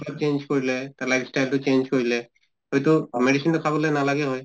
অলপ change কৰিলে তে life style তো অলপ change কৰিলে হয়্তো medicine তো খাবলৈ নালাগে হয়